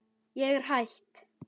Ég er hætt.